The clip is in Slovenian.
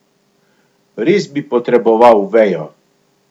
Res bi potreboval vejo.